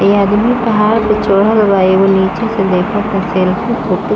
ये आदमी पहाड़ पर चढ़ल बाएकौ नीचे से देखत बा --